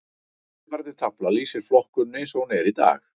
Eftirfarandi tafla lýsir flokkuninni eins og hún er í dag.